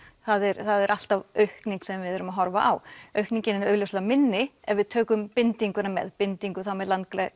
það er það er alltaf aukning sem við erum að horfa á aukningin er augljóslega minni ef við tökum bindinguna með binding þá með